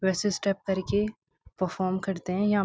वैसे स्टेप करके परफार्म करते है यहां।